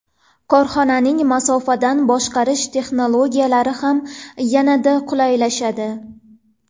Korxonani masofadan boshqarish texnologiyalari ham yanada qulaylashadi.